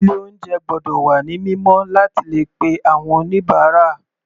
Ilé oúnjẹ gbọ́dọ̀ wà ní mímọ́ láti le pe àwọn oníbàárà.